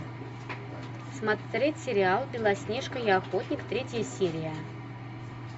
смотреть сериал белоснежка и охотник третья серия